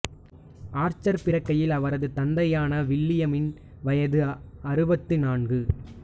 Archer பிறக்கையில் அவரது தந்தையான வில்லியமின் வயது அறுபத்து நான்கு